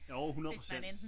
Jo 100 procent